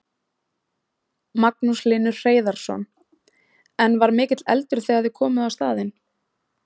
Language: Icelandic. Magnús Hlynur Hreiðarsson: En var mikill eldur þegar þið komuð á staðinn?